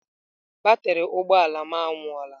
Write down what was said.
Batrị ụgbọ ala m anwụọla.